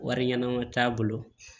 Wari ɲɛnama t'a bolo